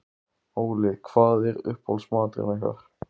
Óli: Hvað er uppáhaldsmaturinn ykkar?